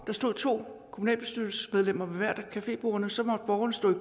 der stod to kommunalbestyrelsesmedlemmer ved hvert af cafébordene og så måtte borgerne stå